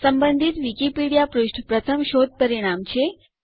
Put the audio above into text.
સંબંધિત વિકિપીડીયા પૃષ્ઠ પ્રથમ શોધ પરિણામ છે